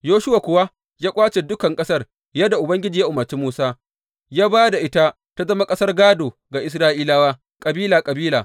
Yoshuwa kuwa ya ƙwace dukan ƙasar yadda Ubangiji ya umarci Musa, ya ba da ita ta zama ƙasar gādo ga Isra’ilawa, kabila kabila.